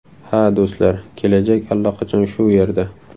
Ha, do‘stlar, kelajak allaqachon shu yerda.